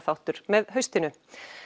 fréttaskýringaþáttur með haustinu